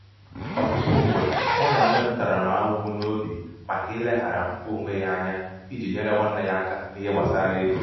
ọtụtụ mgbe ọ na-enwe ntaramahụhụ n’obi maka ileghara mkpa onwe ya onwe ya anya iji nyere nwanne ya aka nihe gbasara ego